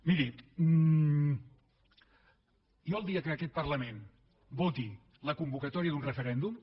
miri jo el dia que aquest parlament voti la convocatòria d’un referèndum